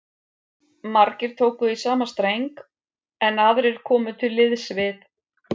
Margir tóku í sama streng, en aðrir komu til liðs við